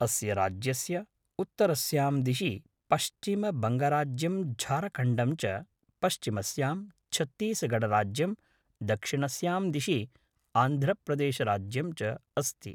अस्य राज्यस्य उत्तरस्यां दिशि पश्चिमबङ्गराज्यं झारखण्डं च, पश्चिमस्यां छत्तीसगढराज्यं, दक्षिणस्यां दिशि आन्ध्रप्रदेशराज्यं च अस्ति।